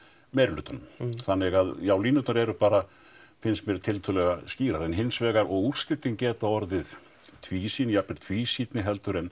meirihlutanum þannig að já línurnar eru bara finnst mér tiltölulega skýrar en hins vegar og úrslitin geta orðið tvísýn jafnvel tvísýnni heldur en